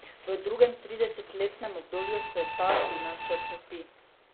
V drugem tridesetletnem obdobju se ta signal še okrepi.